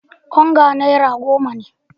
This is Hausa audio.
Onga naira goma ne.